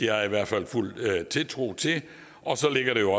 har jeg i hvert fald fuld tiltro til og så ligger der jo